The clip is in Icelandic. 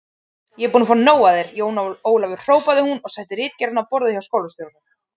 Ég er búin að fá nóg af þér, Jón Ólafur hrópaði hún og setti ritgerðina á borðið hjá skólastjóranum.